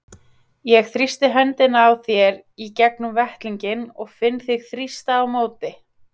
Ég þrýsti höndina á þér í gegnum vettlinginn og finn þig þrýsta á móti.